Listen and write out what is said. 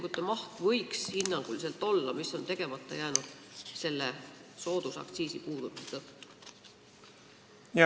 Kui suur võiks hinnanguliselt olla nende otseinvesteeringute maht, mis on soodusaktsiisi puudumise tõttu tegemata jäänud?